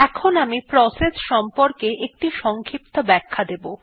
এখন আমি প্রসেস সংক্রান্ত একটি সংক্ষিপ্ত ব্যাখ্যা দেবো